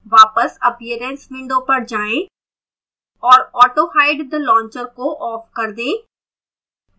वापस appearance window पर जाएं और autohide the launcher को off कर दें